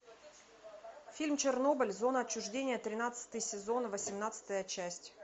фильм чернобыль зона отчуждения тринадцатый сезон восемнадцатая часть